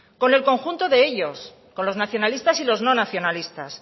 con el conjunto de ellos con los nacionalistas y los no nacionalistas